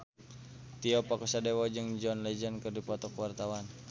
Tio Pakusadewo jeung John Legend keur dipoto ku wartawan